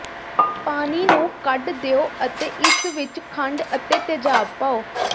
ਪਾਣੀ ਨੂੰ ਕੱਢ ਦਿਓ ਅਤੇ ਇਸ ਵਿੱਚ ਖੰਡ ਅਤੇ ਤੇਜਾਬ ਪਾਓ